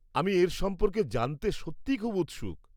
আমি এর সম্পর্কে জানতে সত্যিই খুব উৎসুক।